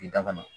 I dabali